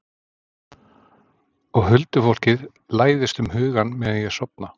Og huldufólkið læðist um hugann meðan ég er að sofna.